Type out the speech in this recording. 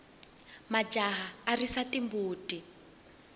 majaha ya risa timbuti